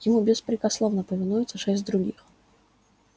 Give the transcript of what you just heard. ему беспрекословно повинуются шесть других